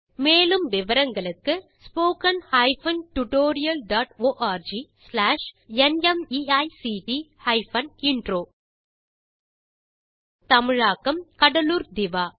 மேற்கொண்டு விவரங்களுக்கு spoken hyphen tutorial dot org slash NMEICT hyphen intro தமிழாக்கம் கடலூர் திவா